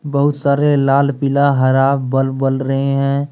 बहुत सारे लालपीला हरा बल्ब बल रहे हैं।